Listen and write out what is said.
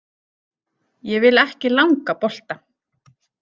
Ég vil ekki langa bolta.